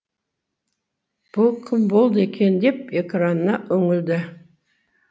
бұ кім болды екен деп экранына үңілді